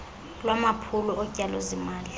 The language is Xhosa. lwamaphulo otyalo zimali